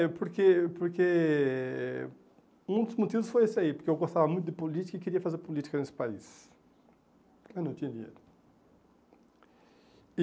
É, porque porque um dos motivos foi esse aí, porque eu gostava muito de política e queria fazer política nesse país, mas não tinha dinheiro. E